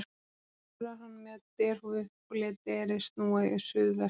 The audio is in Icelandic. Sjálfur var hann með derhúfu og lét derið snúa í suð vestur.